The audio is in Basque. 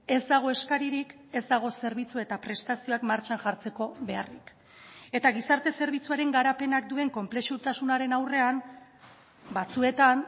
ez dago eskaririk ez dago zerbitzu eta prestazioak martxan jartzeko beharrik eta gizarte zerbitzuaren garapenak duen konplexutasunaren aurrean batzuetan